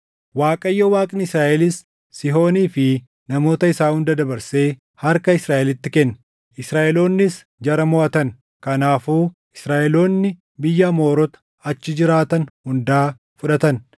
“ Waaqayyo Waaqni Israaʼelis Sihoonii fi namoota isaa hunda dabarsee harka Israaʼelitti kenne; Israaʼeloonnis jara moʼatan; kanaafuu Israaʼeloonni biyya Amoorota achi jiraatan hundaa fudhatan;